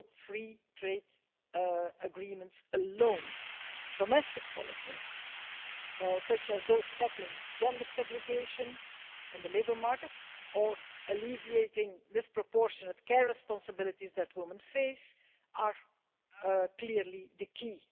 free trade agreements alone. Domestic policies, such as those tackling gender segregation in the labour market and alleviating the disproportionate care responsibilities that women face, are clearly the key.